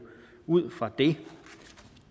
ud fra det